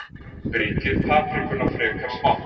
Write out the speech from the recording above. Brytjið paprikuna frekar smátt.